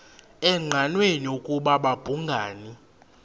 engqanweni ukuba babhungani